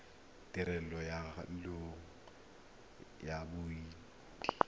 tirelo ya loago ya bodit